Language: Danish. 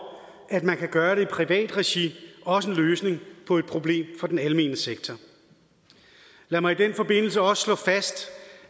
at man kan gøre det i privat regi også en løsning på et problem for den almene sektor lad mig i den forbindelse også slå fast